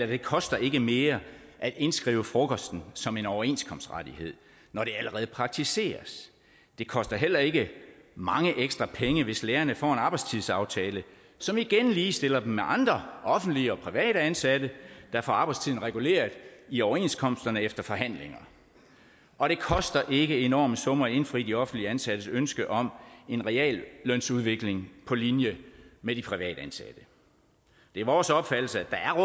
det koster ikke mere at indskrive frokosten som en overenskomstrettighed når det allerede praktiseres det koster heller ikke mange ekstra penge hvis lærerne får en arbejdstidsaftale som igen ligestiller dem med andre offentligt og privat ansatte der får arbejdstiden reguleret i overenskomsterne efter forhandlinger og det koster ikke enorme summer at indfri de offentligt ansattes ønske om en reallønsudvikling på linje med de privatansatte det er vores opfattelse at